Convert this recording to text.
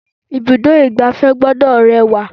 Ibùdó igbàfẹ́ gbọ́dọ̀ rẹwà.